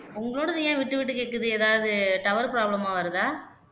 உங்களோடது ஏன் விட்டு விட்டு கேக்குது ஏதாவது டவர் ப்ராப்ளமா வருதா